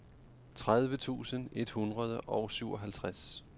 tredive tusind et hundrede og syvoghalvtreds